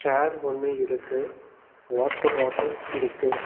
ஏர் ஒன்னு இருக்கு water bottle இருக்கு.